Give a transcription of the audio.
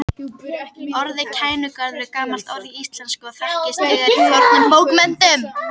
Orðið Kænugarður er gamalt orð í íslensku og þekkist þegar í fornum bókmenntum.